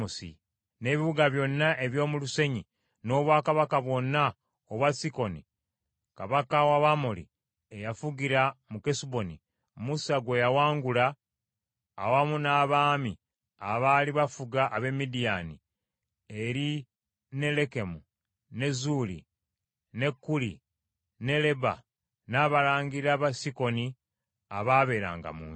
n’ebibuga byonna eby’omu lusenyi, n’obwakabaka bwonna obwa Sikoni kabaka w’Abamoli, eyafugira mu Kesuboni, Musa gwe yawangula awamu n’abaami abaali bafuga ab’e Midiyaani, eri ne Lekemu, ne Zuuli, ne Kuli ne Leba, n’abalangira ba Sikoni abaabeeranga mu nsi.